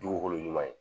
Dugukolo ɲuman ye